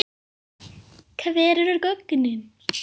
Hver eru gögnin?